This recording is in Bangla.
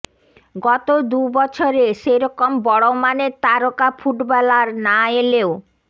গত দু বছরে সেরকম বড় মানের তারকা ফুটবলার না এলেও